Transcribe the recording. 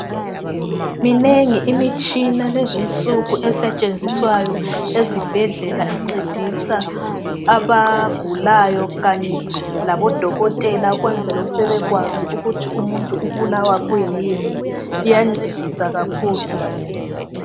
Minengi imitshina lezinsuku esetshenziswayo ezibhedlela ,encedisa abagulayo .Kanye laboDokotela ukwenzela ukuthi bebekwazi ukuthi umuntu ubulawa kuyini . Iyancedisa kakhulu.